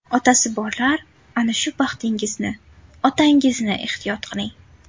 Otasi borlar, ana shu baxtingizni, otangizni ehtiyot qiling.